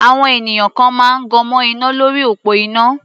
Àwọn ènìyàn kan máa gan mọ́ iná lórí òpó iná.